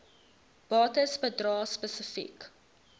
bates bedrae spesifiek